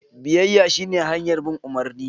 Biyayya shine hanyar bin umarni.